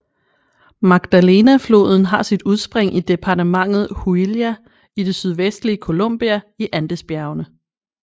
Magdalena floden har sit udspring i departementet Huila i det sydvestlige Colombia i Andesbjergene